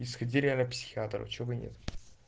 и сходили к психиатру чтобы нет